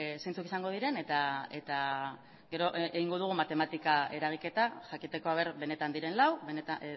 zeintzuk izango diren eta gero egingo dugu matematika eragiketa jakiteko benetan diren lau